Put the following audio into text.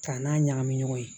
K'a n'a ɲagami ɲɔgɔn na yen